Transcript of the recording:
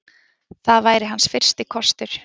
Það væri hans fyrsti kostur.